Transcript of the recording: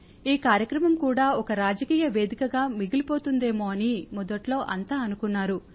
ఈ కార్యక్రమం కూడా ఒక రాజకీయ వేదికగా మిగిలిపోతుందేమో అని మొదట్లో అంతా అనుకున్నారు